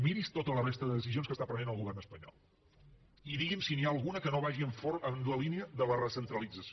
miri’s tota la resta de decisions que està prenent el govern espanyol i digui’m si n’hi ha alguna que no vagi en la línia de la recentralització